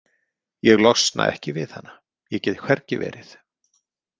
Ég losna ekki við hana, ég get hvergi verið.